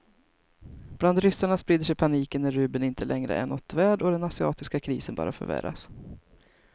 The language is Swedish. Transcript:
Bland ryssarna sprider sig paniken när rubeln inte längre är något värd och den asiatiska krisen bara förvärras.